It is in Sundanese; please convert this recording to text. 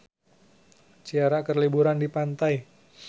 Ciara keur liburan di pantai